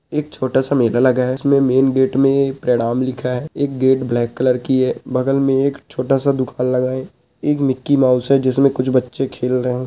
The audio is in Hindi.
एक छोटा सा मेला लगा है उसमें मेन गेट में प्रणाम लिखा है एक गेट ब्लैक कलर की है बगल में एक छोटा सा दुकान लगाए एक मिकीमाउस है जिसमें कुछ बच्चे खेल रहै हैं।